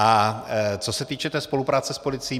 A co se týče té spolupráce s policií.